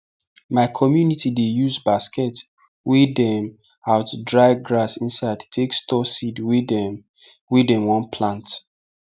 my community dey use basket wey dem out dry grass inside take store seed wey dem wey dem one plant